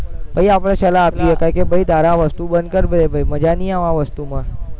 પછી આપણે સલાહ આપી શકાય કે ભાઈ તારે આ વસ્તુ બંધ કર ભૈ મજા નહીં આવે આ વસ્તુમાં